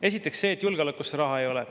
Esiteks see, et julgeolekuks raha ei ole.